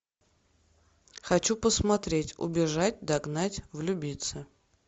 хочу посмотреть убежать догнать влюбиться